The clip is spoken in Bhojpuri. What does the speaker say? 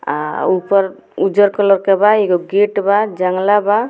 आ ऊपर उजर कलर के बा एगो गेट बा जंगला बा।